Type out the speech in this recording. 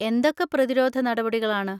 എന്തൊക്കെ പ്രതിരോധ നടപടികളാണ്?